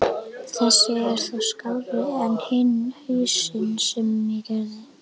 Þessi er þó skárri en hinn hausinn sem ég gerði.